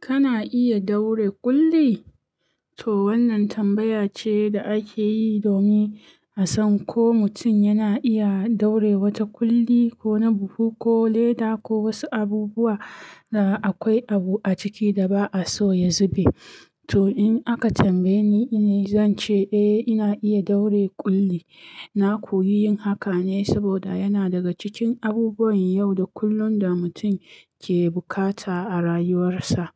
Kana iya daure ƙulli? To wannan tambaya ce da ake yi domin a san ko mutum yana iya daure wata ƙulli ko na buhu ko leda ko wasu abubuwa da akwai abu a ciki da ba a so ya zube. To in aka tambaye ni, ni zan ce eh ina iya daure ƙulli. Na koyi yin haka ne saboda yana daga cikin abubuwan yau da kullum da mutum ke bukata a rayuwarsa.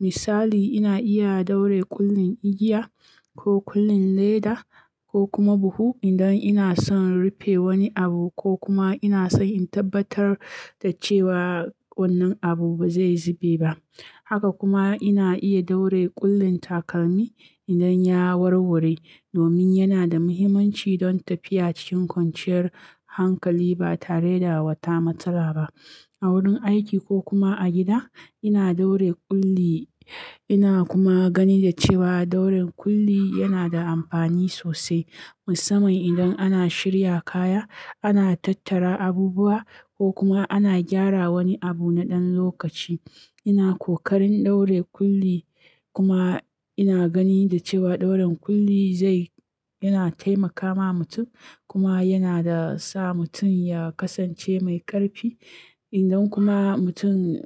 Misali, ina iya daure ƙullin igiya ko ƙullin leda ko kuma buhu idan ina son rufe wani abu ko kuma ina so in tabbatar da cewa wannan abu ba zai zube ba. Haka kuma ina iya daure ƙullin takalmi idan ya warware domin yana da mahimmanci don tafiya cikin kwanciyar hankali ba tare da wata matsala ba. A wurin aiki ko kuma a gida ina daure ƙulli ina kuma gani da cewa dauren ƙulli yana da amfani sosai musamman idan ana shirya kaya, ana tattara abubuwa ko kuma ana gyara wani abu na ɗan lokaci. Ina ƙoƙarin daure ƙulli kuma ina gani da cewa dauren ƙulli zai-- yana taimakawa mutum kuma yanada sa mutum ya kasance mai ƙarfi. Idan kuma mutum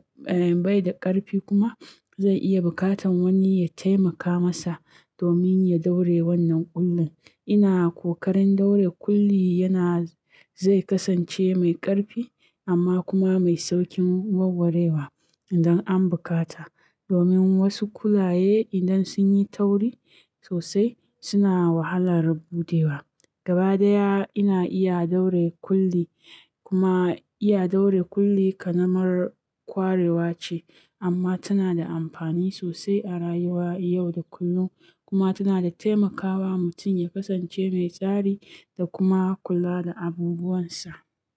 bai da ƙarfi kuma zai iya bukatan wani ya taimaka masa domin ya daure wannan ƙullin. Ina ƙoƙarin daure ƙulli yana zai kasance mai ƙarfi amma kuma mai sauƙin warwarewa idan an bukata domin wasu kulaye idan sun yi tauri sosai suna wahalar buɗewa. Gaba ɗaya ina iya daure ƙulli kuma iya daure ƙulli ƙanamar kwarewa ce amma tana da amfani sosai a rayuwa yau da kullum kuma tana taimakawa mutum ya kasance mai tsari da kuma kula da abubuwansa.